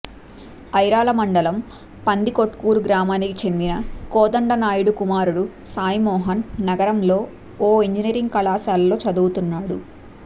ఐరాల మండలం పందికొట్కూరు గ్రామానికి చెందిన కోదండనాయుడు కుమారుడు సాయిమోహన్ నగరంలోని ఓ ఇంజినీరింగ్ కళాశాలలో చదువుతున్నాడు